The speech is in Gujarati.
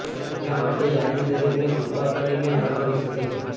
એટલા માટે યાદી દરેકને કૃપા કરીને ન કરી શકે છે